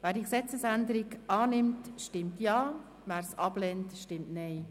Wer die Gesetzesänderung annimmt, stimmt Ja, wer diese ablehnt, stimmt Nein.